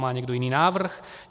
Má někdo jiný návrh?